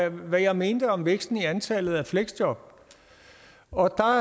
om hvad jeg mente om væksten i antallet af fleksjob og